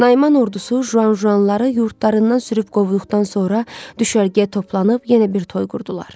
Naiman ordusu jujanları yurdlarından sürüb qovduqdan sonra düşərgəyə toplanıb yenə bir toy qurdular.